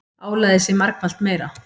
Álagið sé margfalt meira.